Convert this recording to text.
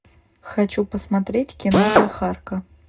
хочу посмотреть кино жихарка